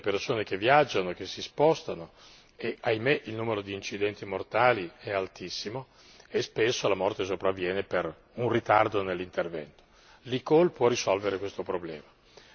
Va da sé che bisogna difendere e proteggere le persone che viaggiano, che si spostano e purtroppo il numero di incidenti mortali è altissimo e spesso la morte sopravviene per un ritardo nell'intervento.